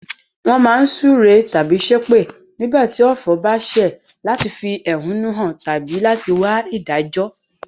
Won má n súre tábí sépè nígbàtí ọ̀fọ̀ ba sẹ̀ láti fi ẹ̀húnú han tábí láti wa ìdájó